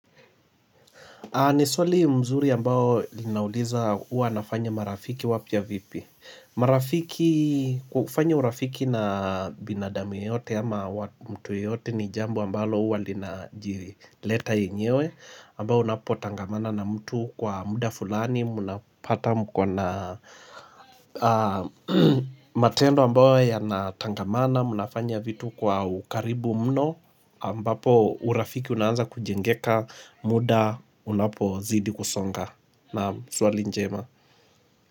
Ni swali mzuri ambao linauliza huwa nafanya marafiki wapya vipi marafiki kufanya urafiki na binadamu yeyote ama mtu yeyote ni jambo ambalo uwa linajileta yenyewe ambao unapo tangamana na mtu kwa muda fulani Muna pata mko na matendo ambayo yanatangamana Munafanya vitu kwa ukaribu mno ambapo urafiki unaanza kujengeka muda unapo zidi kusonga na swali njema.